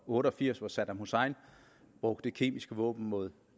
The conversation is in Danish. otte og firs hvor saddam hussein brugte kemiske våben mod